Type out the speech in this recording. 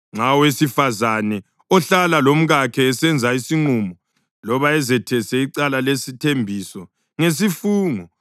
Nxa owesifazane ohlala lomkakhe esenza isinqumo loba ezethesa icala lesithembiso ngesifungo